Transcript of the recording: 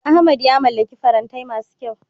Ahmad ya mallaki farantai masu kyau.